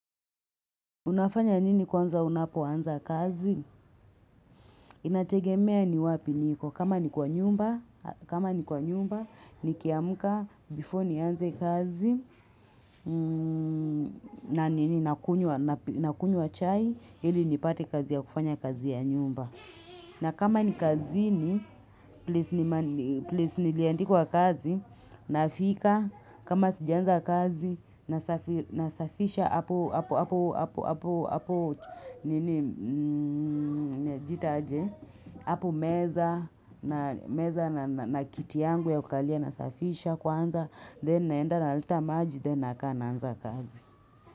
Unafanya nini kwanza unapoanza kazi, inategemea ni wapi niko, kama ni kwa nyumba, nikiamka, before nianze kazi, na nini nakunywa chai, hili nipate kazi ya kufanya kazi ya nyumba. Na kama ni kazi ni, place niliandikwa kazi, nafika, kama sijaanza kazi, nasafisha hapo apu, hapo hapo hapo nini, ita aje, hapo meza, na meza na kiti yangu ya kukalia nasafisha kwanza, then naenda na naleta maji, then nakaa naanza kazi.